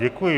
Děkuji.